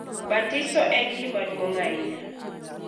Batiso en gima duong’ ahinya,